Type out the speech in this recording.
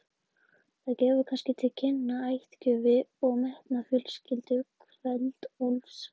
Það gefur kannski til kynna ættgöfgi og metnað fjölskyldu Kveld-Úlfs.